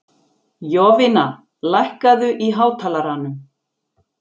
Jovina, lækkaðu í hátalaranum.